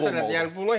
Yox, əlbəttə məsələdir.